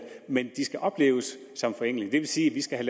men de skal opleves som forenklinger det vil sige at vi skal